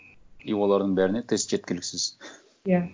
и олардың бәріне тест жеткіліксіз иә